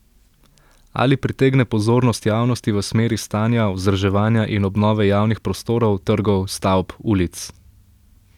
Ali pritegne pozornost javnosti v smeri stanja, vzdrževanja in obnove javnih prostorov, trgov, stavb, ulic?